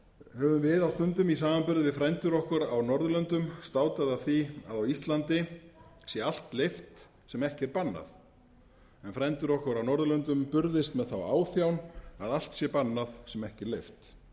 höfum við á stundum í samanburði við frændur okkar á norðurlöndum státað af því að á íslandi sé allt leyft sem ekki er bannað en frændur okkar á norðurlöndum burðist með þá áþján að allt sé bannað sem ekki er leyft